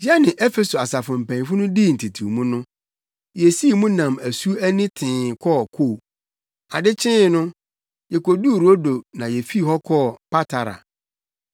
Yɛne Efeso asafo mpanyimfo no dii ntetewmu no, yesii mu nam asu ani tee kɔɔ Ko. Ade kyee no, yekoduu Rodo na yefii hɔ kɔɔ Patara.